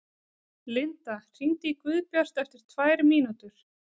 Linda, hringdu í Guðbjart eftir tvær mínútur.